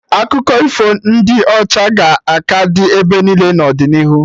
Akụkọ ifo ndị ọcha ga-aka dị ebe niile n'ọdịnihu